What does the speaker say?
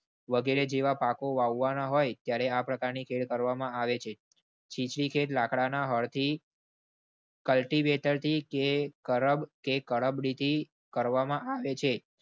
વગેરે જેવા પાકો વાવવાના હોય ત્યારે આ પ્રકારની ખેળ કરવામાં આવે છે. છી ખેત લાકડાના હળથી cultivator થી કે ખરબ કે ખરાબરીતે કરવામાં આવે છે.